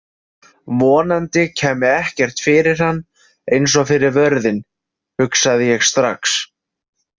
Vonandi kæmi ekkert fyrir hann eins og fyrir vörðinn, hugsaði ég strax.